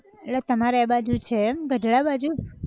એટલે તમારે એ બાજુ છે એમ ગઢડા બાજુ!